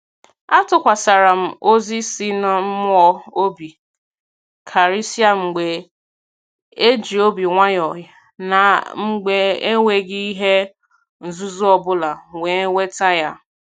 A tukwasara m ozi si n'mmụọ obi karịsịa mgbe e ji obi nwayọ na mgbe enweghị ihe nzuzo ọbụla wee weta ya